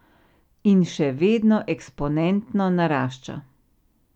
In še vedno eksponentno narašča.